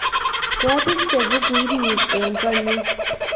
koabiste bukuit nyun eng koot nyun